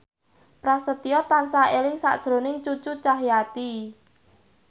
Prasetyo tansah eling sakjroning Cucu Cahyati